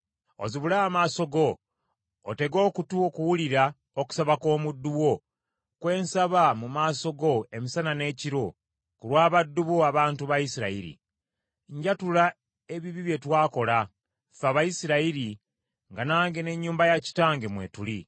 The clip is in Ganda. Ozibule amaaso go, otege okutu okuwulira okusaba kw’omuddu wo kwe nsaba mu maaso go emisana n’ekiro ku lwa baddu bo abantu ba Isirayiri. Njatula ebibi bye twakola, ffe Abayisirayiri, nga nange n’ennyumba ya kitange mwe tuli.